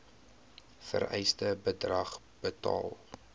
vereiste bedrag betaal